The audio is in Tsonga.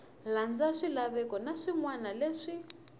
landza swilaveko na swinawana leswi